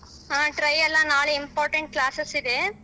ಹಾ try ಅಲ್ಲ ನಾಳೆ important classes ಇದೆ.